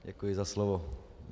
Děkuji za slovo.